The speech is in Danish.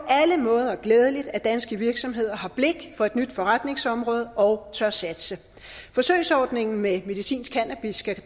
alle måder glædeligt at danske virksomheder har blik for et nyt forretningsområde og tør satse forsøgsordningen med medicinsk cannabis skal